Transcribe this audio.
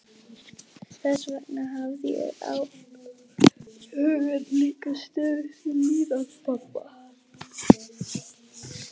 Þess vegna hafði ég hugann líka stöðugt við líðan pabba.